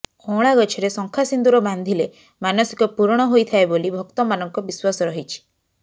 ଅଁଳା ଗଛରେ ଶଙ୍ଖା ସିନ୍ଦୁର ବାନ୍ଧିଲେ ମାନସିକ ପୂରଣ ହୋଇଥାଏ ବୋଲି ଭକ୍ତମାନଙ୍କ ବିଶ୍ୱାସ ରହିଛି